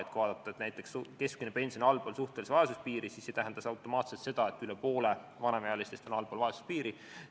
Kui vaadata näiteks, et keskmine pension on allpool suhtelise vaesuse piiri, siis see ei tähenda automaatselt seda, et üle poole vanemaealistest elavad allpool vaesuspiiri.